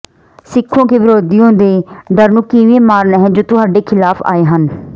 ਸਿੱਖੋ ਕਿ ਵਿਰੋਧੀਆਂ ਦੇ ਡਰ ਨੂੰ ਕਿਵੇਂ ਮਾਰਨਾ ਹੈ ਜੋ ਤੁਹਾਡੇ ਖਿਲਾਫ਼ ਆਏ ਹਨ